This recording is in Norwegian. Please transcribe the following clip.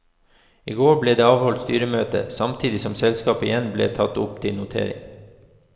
I går ble det avholdt styremøte, samtidig som selskapet igjen ble tatt opp til notering.